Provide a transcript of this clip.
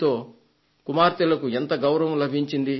దీనితో కుమార్తెలకు ఎంతో గౌరవం లభించింది